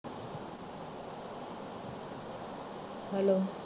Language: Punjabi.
hello